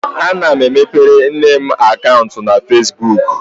Ana m emepere nne m akaụntụ na Fesbuk.